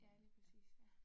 Ja lige præcis, ja